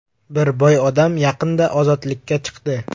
Bir boy odam, yaqinda ozodlikka chiqdi.